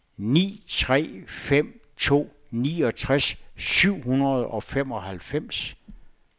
ni tre fem to niogtres syv hundrede og femoghalvfems